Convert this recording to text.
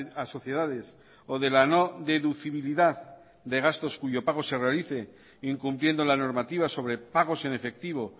a sociedades o de la no deducibilidad de gastos cuyo pago se realice incumpliendo la normativa sobre pagos en efectivo